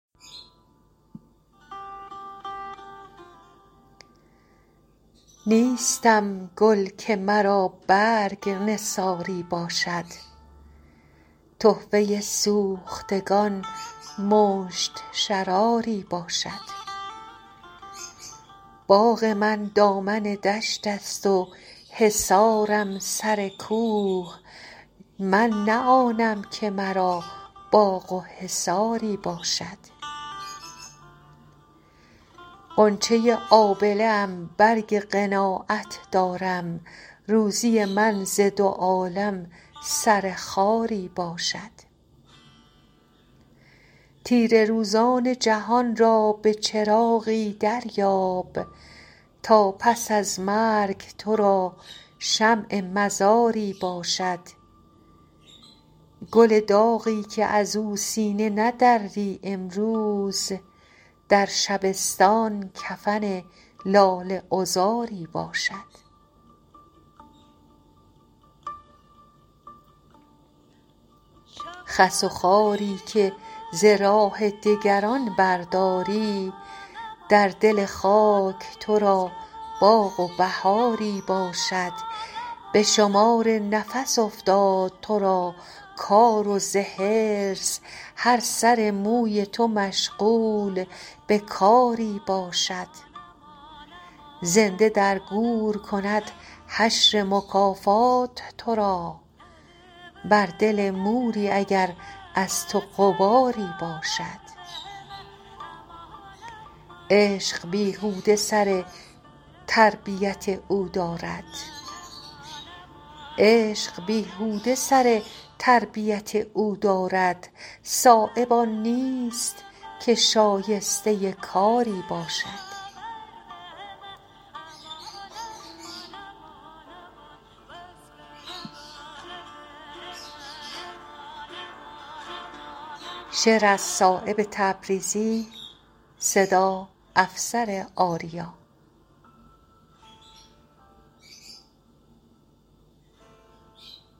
نیستم گل که مرا برگ نثاری باشد تحفه سوختگان مشت شراری باشد باغ من دامن دشت است و حصارم سر کوه من نه آنم که مرا باغ و حصاری باشد غنچه آبله ام برگ قناعت دارم روزی من ز دو عالم سر خاری باشد تیره روزان جهان را به چراغی دریاب تا پس از مرگ ترا شمع مزاری باشد گل داغی که ازو سینه ندزدی امروز در شبستان کفن لاله عذاری باشد خس و خاری که ز راه دگران برداری در دل خاک ترا باغ و بهاری باشد به شمار نفس افتاد ترا کار و ز حرص هر سر موی تو مشغول به کاری باشد زنده در گور کند حشر مکافات ترا بر دل موری اگر از تو غباری باشد عشق بیهوده سر تربیت او دارد صایب آن نیست که شایسته کاری باشد